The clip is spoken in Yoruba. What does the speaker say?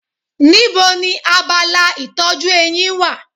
Níbo ni abala ìtọ́jú eyín wà?